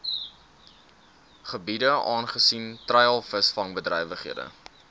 gebiede aangesien treilvisvangbedrywighede